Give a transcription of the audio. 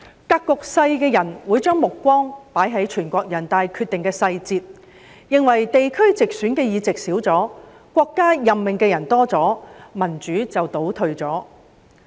格局小的人會將目光放在全國人民代表大會有關決定的細節，認為地區直選議席減少了，國家任命的人增加了，民主便倒退了。